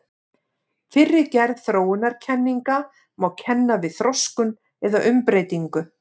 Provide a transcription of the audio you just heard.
Fyrri gerð þróunarkenninga má kenna við þroskun eða umbreytingu.